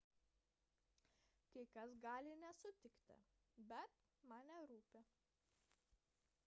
kai kas gali nesutikti bet man nerūpi